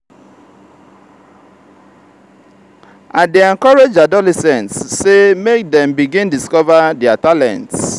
i dey encourage adolescents sey make dem begin discover their talents.